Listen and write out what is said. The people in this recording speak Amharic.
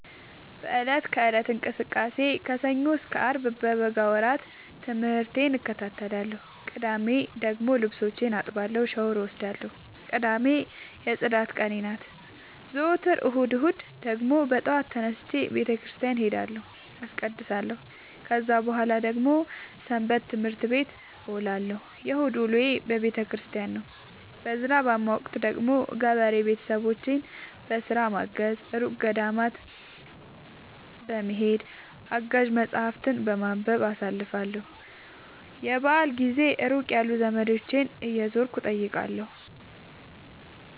በእለት ከእለት እንቅስቃሴዬ ከሰኞ እስከ አርብ በበጋ ወራት ትምህርቴን እከታተላለሁ። ቅዳሜ ደግሞ ልብሶቼን አጥባለሁ ሻውር እወስዳለሁ ቅዳሜ የፅዳት ቀኔ ናት። ዘወትር እሁድ እሁድ ደግሞ በጠዋት ተነስቼ በተክርስቲያን እሄዳለሁ አስቀድሳሁ። ከዛ በኃላ ደግሞ ሰበትምህርት ቤት እውላለሁ የእሁድ ውሎዬ ቤተክርስቲያን ነው። በዝናባማ ወቅት ደግሞ ገበሬ ቤተሰቦቼን በስራ በማገ፤ እሩቅ ገዳማት በመሄድ፤ አጋዥ መፀሀፍትን በማንበብ አሳልፍለሁ። የበአል ጊዜ ሩቅ ያሉ ዘመዶቼን እየዞርኩ እጠይቃለሁ።